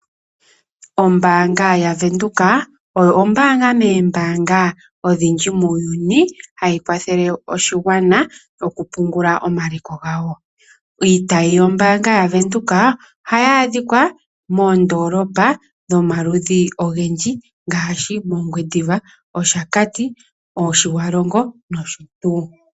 Ombaanga yaVenduka oyo Ombaanga moombaanga muuyuni ndjoka hayi kwathele aantu moku pungula omaliko gawo. Iitayi yawo ohayi adhika moondoolopa dha yoolokathana ngaashi mOngwediva, mOshakati, mOtjiwarongo nosho tuu.